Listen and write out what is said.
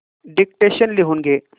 dictation लिहून घे